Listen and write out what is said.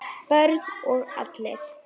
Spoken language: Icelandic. Börn og allir?